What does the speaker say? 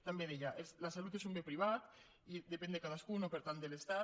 també deia la salut és un bé privat i depèn de cadascú no per tant de l’estat